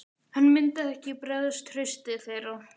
Hann myndi ekki bregðast trausti þeirra.